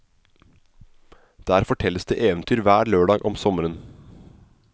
Der fortelles det eventyr hver lørdag om sommeren.